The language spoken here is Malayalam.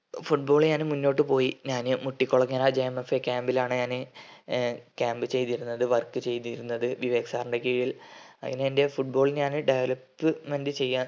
football ഞാന് മുന്നോട്ട് പോയി ഞാന് മുട്ടികുളങ്ങര JMFA camp ലാണ് ഞാന് camp ചെയ്‌തിരുന്നത്‌ work ചെയ്‌തിരുന്നത്‌ വിവേക് sir ൻ്റെ കീഴിൽ അങ്ങനെ എൻ്റെ football ഞാന് development ചെയ്യാൻ